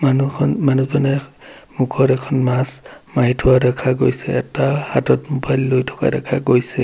মানুহখন মানুহজনে মুখত এখন মাস্ক মাৰি থোৱা দেখা গৈছে এটা হাতত মোবাইল লৈ থকা দেখা গৈছে।